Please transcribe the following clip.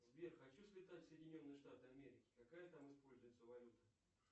сбер хочу слетать в соединенные штаты америки какая там используется валюта